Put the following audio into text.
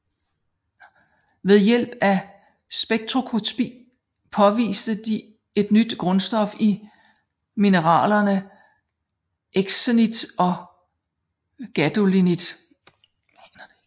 Ved hjælp af spektroskopi påviste de et nyt grundstof i mineralerne euxenit og gadolinit